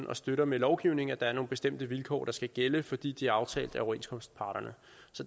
og støtter med lovgivning at der er nogle bestemte vilkår der skal gælde fordi de er aftalt af overenskomstparterne